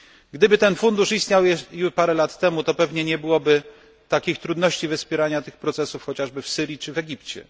Gdyby ten fundusz istniał już parę lat temu, to pewnie nie byłoby takich trudności we wspieraniu tych procesów chociażby w Syrii czy Egipcie.